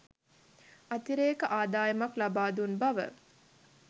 අතිරේක අදායමක් ලබාදුන් බව